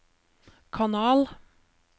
kanal